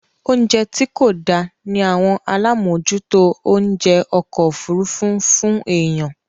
Oúnjẹ tí kò dá ní àwọn alámòòjútó oúnjẹ okọ̀-òfurufu ń fún èèyàn.